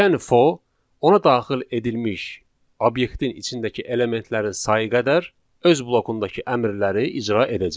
Yəni for ona daxil edilmiş obyektin içindəki elementlərin sayı qədər öz blokundakı əmrləri icra edəcək.